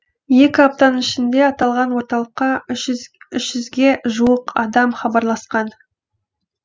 екі аптаның ішінде аталған орталыққа үш жүзге жуық адам хабарласқан